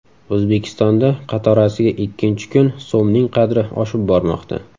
O‘zbekistonda qatorasiga ikkinchi kun so‘mning qadri oshib bormoqda.